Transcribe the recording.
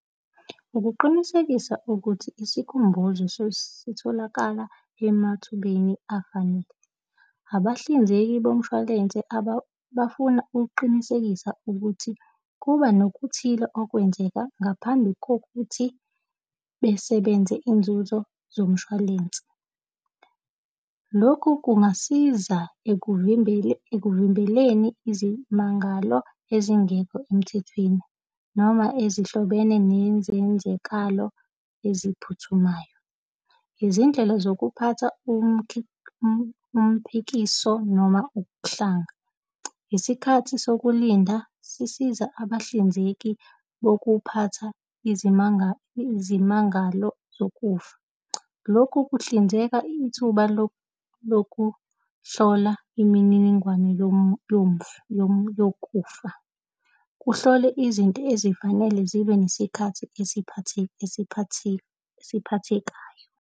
Ukuqinisekisa ukuthi isikhumbuzo sesitholakala emathubeni afanele. Abahlinzeki bomshwalense bafuna ukuqinisekisa ukuthi kuba nokuthile okwenzeka ngaphambi kokuthi besebenze iy'nzuzo zomshwalense. Lokhu kungasiza ekuvimbeleni, ekuvimbeleni izimangalo ezingekho emthethweni, noma ezihlobene nezenzakalo eziphuthumayo. Izindlela zokuphatha, umphikiso noma ukuhlanga, isikhathi sokulinda sisiza abahlinzeki bokuphatha izimanga, izimangalo zokufa. Lokhu kuhlinzeka ithuba lokuhlola imininingwane yomufi yokufa. Kuhlole izinto ezifanele zibe nesikhathi esiphathiyo, esiphathekayo.